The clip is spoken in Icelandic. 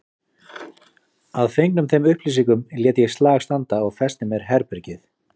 Að fengnum þeim upplýsingum lét ég slag standa og festi mér herbergið.